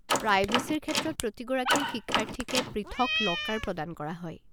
প্ৰাইভেচীৰ ক্ষেত্ৰত প্ৰতিগৰাকী শিক্ষাৰ্থীকে পৃথক ল'কাৰ প্ৰদান কৰা হয়।